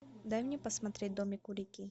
дай мне посмотреть домик у реки